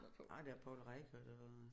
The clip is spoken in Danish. Nej der er Poul Reichhardt og